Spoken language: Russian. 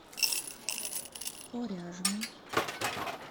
коряжмы